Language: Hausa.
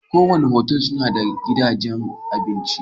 kowane otal suna da gidajen abinci.